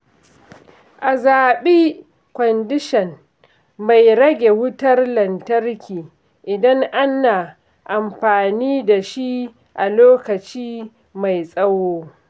A zabi kwandishan mai rage wutar lantarki idan ana amfani da shi a lokaci mai tsawo.